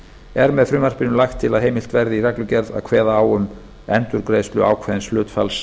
er með frumvarpinu lagt til að heimilt verði með reglugerð að kveða á um endurgreiðslu ákveðins hlutfalls